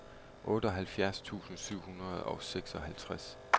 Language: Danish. otteoghalvfjerds tusind syv hundrede og seksoghalvtreds